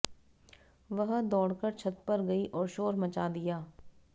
वह दौड़कर छत पर गई और शोर मचा दिया